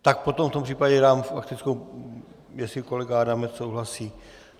Tak potom v tom případě dám faktickou, jestli kolega Adamec souhlasí.